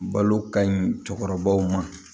Balo ka ɲi cɛkɔrɔbaw ma